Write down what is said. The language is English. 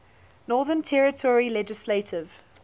northern territory legislative